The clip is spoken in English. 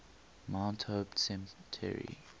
mount hope cemetery